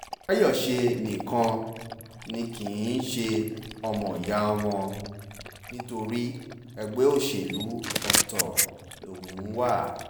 fàyọṣe nìkan ni kì í ṣe ọmọọ̀yà wọn nítorí ẹgbẹ́ òṣèlú ọ̀tọ̀ lòun wà